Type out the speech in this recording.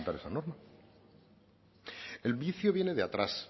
presentar esa norma el vicio viene de atrás